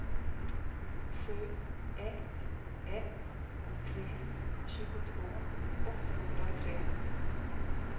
sju ett ett tre tjugotvå åttahundratre